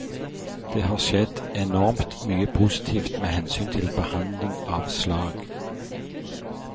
Det har skjedd enormt mye positivt med hensyn til behandling av slag.